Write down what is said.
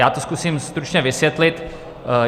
Já to zkusím stručně vysvětlit.